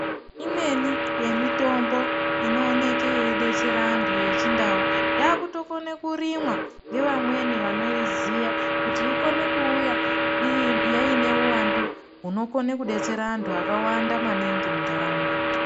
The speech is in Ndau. Imweni yemitombo inooneke yeidetsera antu yechindau yaakutokone kurimwa ngevamweni vanoiziya kuti ikone kuuya iineuwandu hunokone kudetsera antu akawanda maningi muntaraunda.